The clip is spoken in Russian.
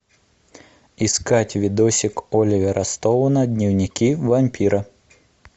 искать видосик оливера стоуна дневники вампира